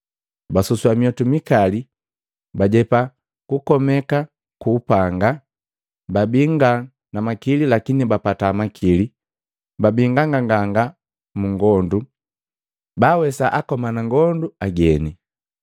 basusua myiotu mikali, bajepa kukomeka kwa mapanga, babii nga na makili lakini bapata makili. Babii nganganganga mu ngondu, baawesa akomana ngondu ageni.